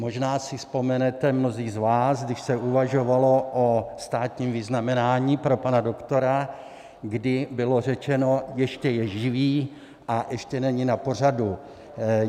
Možná si vzpomenete mnozí z vás, když se uvažovalo o státním vyznamenání pro pana doktora, kdy bylo řečeno - ještě je živý a ještě není na pořadu.